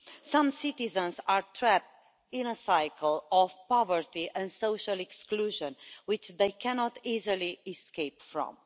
Some citizens are trapped in a cycle of poverty and social exclusion, which they cannot easily escape from.